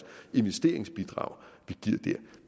investeringsbidrag